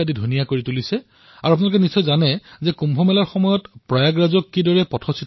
over bridge আৰু বিদ্যালয়ৰ দেৱালসমূহৰ পৰা আৰম্ভ কৰি জুপুৰি পৰ্যন্ত তেওঁ নিজৰ প্ৰতিভা দাঙি ধৰিছে আৰু জনসাধাৰণে তেওঁক সহযোগো কৰিছে